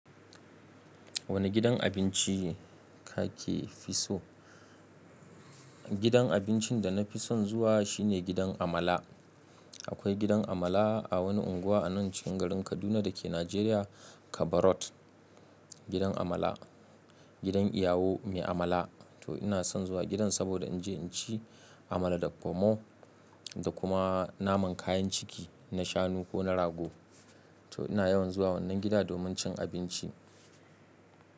Wane gidan abinci ka ke fi so? Gidan abincin da na fi son zuwa shi ne gidan Amala. Akwai gidan Amala a wani unguwa a nan cikin garin Kaduna da ke Najeriya Kaba road Gidan Amala, gidan iyawo mai Amala. To ina son zuwa gidan saboda in je in ci Amala da Pomor da kuma naman kayan ciki na shanu ko na rago. To ina yawan zuwa wannan gida domin cin abinci.